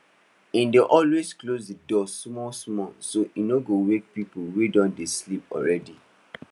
he dey always close the door small small so he no go wake people wey don dey dey sleep already